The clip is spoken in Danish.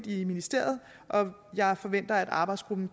i ministeriet og jeg forventer at arbejdsgruppen